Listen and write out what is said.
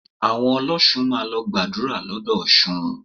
Àwọn ọlọ́ṣun máa lọ gbàdúrà l'ódò Ọ̀ṣun